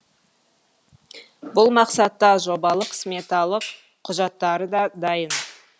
бұл мақсатта жобалық сметалық құжаттары да дайын